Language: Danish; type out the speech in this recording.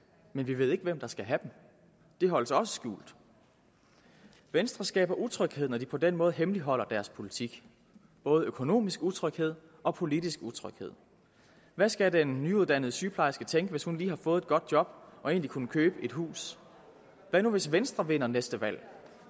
men vi ved ikke hvem der skal have dem det holdes også skjult venstre skaber utryghed når de på den måde hemmeligholder deres politik både økonomisk utryghed og politisk utryghed hvad skal den nyuddannede sygeplejerske tænke hvis hun lige har fået et godt job og egentlig kunne købe et hus hvad nu hvis venstre vinder næste valg